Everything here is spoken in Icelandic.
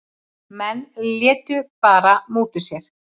Menn létu bara múta sér.